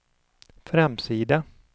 framsida